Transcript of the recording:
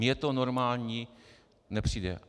Mně to normální nepřijde.